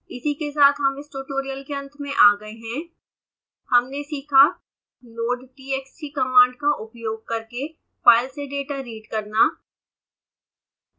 this brings us to the end of this tutorial in this tutorial we have learnt: